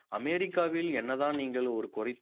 அமெரிக்காவில் என்னதான் நீங்கள் ஒரு குறி~